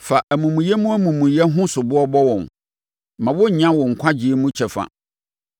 Fa amumuyɛ mu amumuyɛ ho soboɔ bɔ wɔn; mma wɔnnya wo nkwagyeɛ mu kyɛfa.